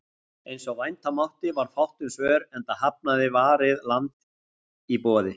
Eins og vænta mátti varð fátt um svör, enda hafnaði Varið land boði